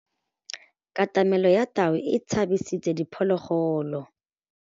Katamêlô ya tau e tshabisitse diphôlôgôlô.